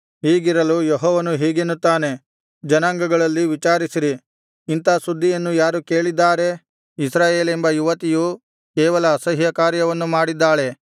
ಹೀಗಿರಲು ಯೆಹೋವನು ಹೀಗೆನ್ನುತ್ತಾನೆ ಜನಾಂಗಗಳಲ್ಲಿ ವಿಚಾರಿಸಿರಿ ಇಂಥಾ ಸುದ್ದಿಯನ್ನು ಯಾರು ಕೇಳಿದ್ದಾರೆ ಇಸ್ರಾಯೇಲೆಂಬ ಯುವತಿಯು ಕೇವಲ ಅಸಹ್ಯಕಾರ್ಯವನ್ನು ಮಾಡಿದ್ದಾಳೆ